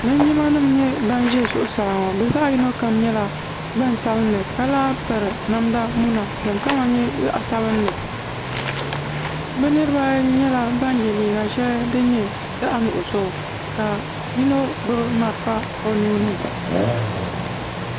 Linjima nima n nyɛ ban ʒɛ zuɣusaa ŋɔ bɛ zaɣa yino kam nyɛla gbaŋ sabinli ka lahi piri namda muna ka di kama nyɛ zaɣa sabinli bɛ niriba ayi nyɛla ban ye liiga sheli din nyɛ zaɣa nuɣuso ka yino gbibi marafa o nuuni.